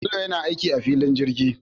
Bello yana aiki a filin jirgi